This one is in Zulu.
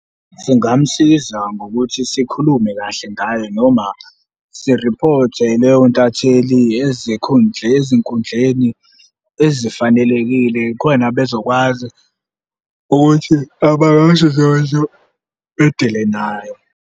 Singamusiza ngokuthi sikhulume kahle ngayo noma siriphothe leyo ntatheli ezinkundleni ezifanelekile khona nabo bezokwazi ukuthi abakwasidlodlo bedile nayo.